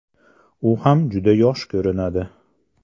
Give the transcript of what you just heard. U ham juda yosh ko‘rinadi.